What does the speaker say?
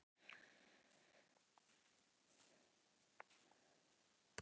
Afi og Lilla veltust um af hlátri.